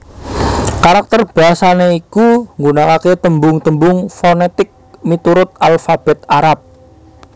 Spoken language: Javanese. Karakter basané iku nggunakaké tembung tembung fonètik miturut alfabèt Arab